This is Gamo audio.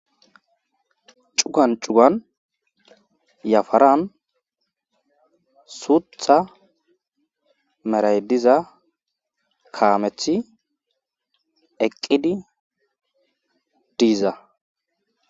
cugan cugan yafaran suutha meray diza kaameti eqqidi diiza